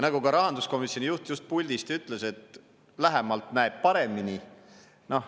Nagu ka rahanduskomisjoni juht just puldist ütles, et lähemalt näeb paremini.